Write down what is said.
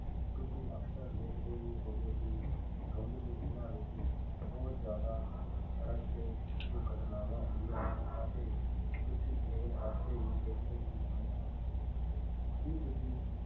ਤੁਸੀਂ ਅਕਸਰ ਦੇਖਦੇ ਹੀ ਹੋਵੋਗੇ ਕਿ ਧੁੰਦ ਦੇ ਦਿਨਾਂ ਵਿੱਚ ਬਹੁਤ ਜ਼ਿਆਦਾ ਸੜਕ ਤੇ ਦੁਰਘਟਨਾਵਾਂ ਹੁੰਦੀਆਂ ਹਨ ਅਤੇ ਤੁਸੀਂ ਰੇਲ ਹਾਦਸੇ ਵੀ ਦੇਖੇ ਹੀ ਹੋਣੇ ਹਨ ਕੀ ਤੁਸੀਂ